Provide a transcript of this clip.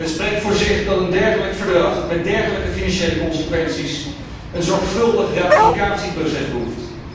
Het spreekt voor zich dat een dergelijk verdrag met dergelijke financiële consequenties een zorgvuldig ratificatieproces behoeft.